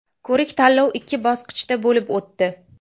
Ko‘rik-tanlov ikki bosqichda bo‘lib o‘tdi.